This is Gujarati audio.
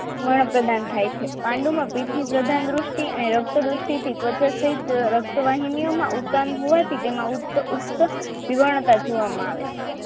વર્ણ પ્રદાન થાય છે પાંડુમાં પિત્તની પ્રધાન દ્રષ્ટિ અને રક્ત દ્રષ્ટિ થી ત્વચા સહીત રક્તવાહિનીઓમાં ઉપરાંત હોવાથી તેમાં ઉત્તક જીવનતા જોવામાં આવે છે